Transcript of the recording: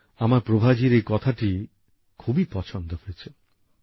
আমার প্রভাজীর এই কথাটি খুবই পছন্দ হয়েছে